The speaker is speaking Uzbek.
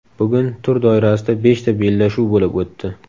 Bugun tur doirasida beshta bellashuv bo‘lib o‘tdi.